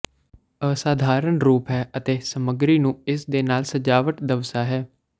ਅਸਾਧਾਰਨ ਰੂਪ ਹੈ ਅਤੇ ਸਮੱਗਰੀ ਨੂੰ ਇਸ ਦੇ ਨਾਲ ਸਜਾਵਟ ਦਵਸਆ ਹੈ